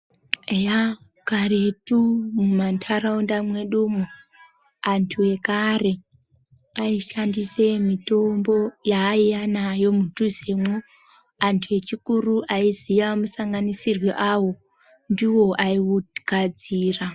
Eya karetu mumantharaunda mwedumwo, antu ekare aishandise mitombo yaaiya nayo mudhuzemwo. Antu akuru aiziya musanganisirwe awo, ndiwo aiugadzira.